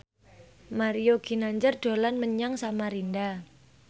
Mario Ginanjar dolan menyang Samarinda